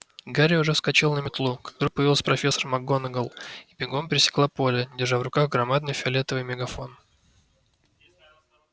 гарри уже вскочил на метлу как вдруг появилась профессор макгонагалл и бегом пересекла поле держа в руках громадный фиолетовый мегафон